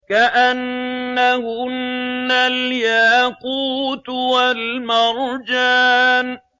كَأَنَّهُنَّ الْيَاقُوتُ وَالْمَرْجَانُ